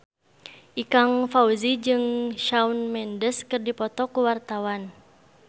Ikang Fawzi jeung Shawn Mendes keur dipoto ku wartawan